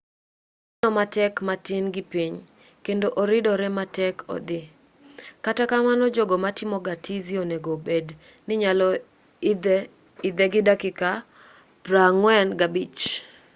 oneno matek matin gi piny kendo oridoree ma otek idho kata kamano jogo matimo ga tizi onego obed ni nyalo idhe gi dakika 45